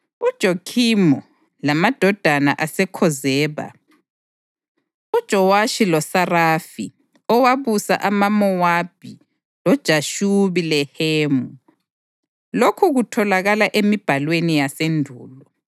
UJokhimu, lamadoda aseKhozeba, uJowashi loSarafi, owabusa amaMowabi loJashubi Lehemu. (Lokhu kutholakala emibhalweni yasendulo).